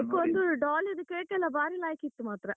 cake ಒಂದುdoll ದು cake ಎಲ್ಲ ಬಾರಿ ಲಾಯ್ಕಿತ್ತು ಮಾತ್ರ.